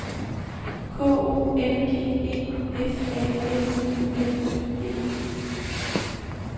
K O N G E F A M I L I E